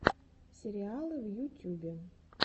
сериалы в ютюбе